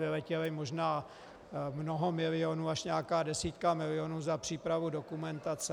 Vyletělo možná mnoho milionů, až nějaká desítka milionů za přípravu dokumentace...